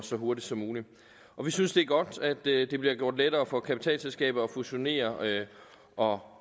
så hurtigt som muligt vi synes det er godt at det det bliver gjort lettere for kapitalselskaber at fusionere og